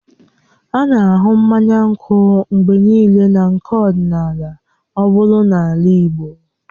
A na-ahụ mmanya nkwụ mgbe niile na nnọkọ ọdịnala ọ bụla n'ala Igbo.